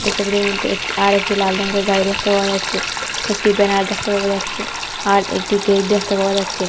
ছবিটির মধ্যে আরেকটি লাল রঙের গাড়ি দেখতে পাওয়া যাচ্ছে একটি ব্যানার দেখতে পাওয়া যাচ্ছে আর একটি গেট দেখতে পাওয়া যাচ্ছে।